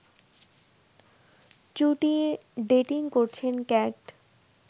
চুটিয়ে dating করছেন cat